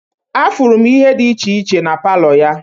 Afụrụ m ihe dị iche iche na palọ ya.